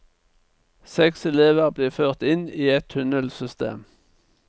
Seks elver blir ført inn i et tunnelsystem.